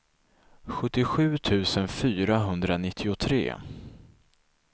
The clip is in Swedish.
sjuttiosju tusen fyrahundranittiotre